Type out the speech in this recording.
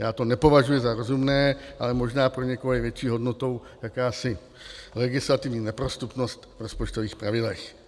Já to nepovažuji za rozumné, ale možná pro někoho je větší hodnotou jakási legislativní neprostupnost v rozpočtových pravidlech.